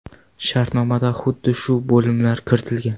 Shartnomada xuddi shu bo‘limlar kiritilgan.